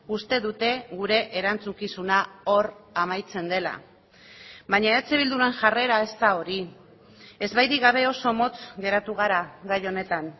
uste dute gure erantzukizuna hor amaitzen dela baina eh bilduren jarrera ez da hori ezbairik gabe oso motz geratu gara gai honetan